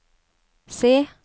se